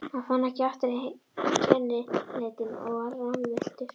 Hann fann ekki aftur kennileitin og var rammvilltur.